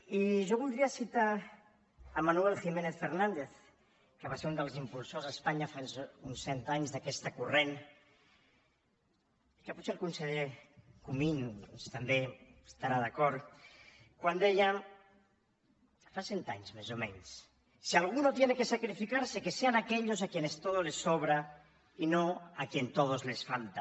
i jo voldria citar manuel giménez fernández que va ser un dels impulsors a espanya fa uns cent anys d’aquest corrent que potser el conseller comín doncs també hi estarà d’acord quan deia fa cent anys més o menys si alguno tiene que sacrificarse que sean aquellos a quienes todo les sobra y no a quienes todo les falta